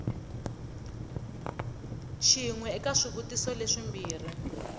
xin we eka swivutiso leswimbirhi